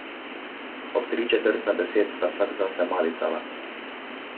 Ob tri četrt na deset sta vsak zase malicala.